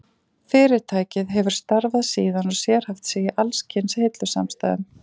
Fyrirtækið hefur starfað síðan og sérhæft sig í alls kyns hillusamstæðum.